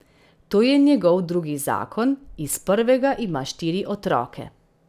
To je njegov drugi zakon, iz prvega ima štiri otroke.